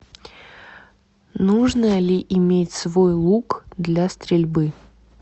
нужно ли иметь свой лук для стрельбы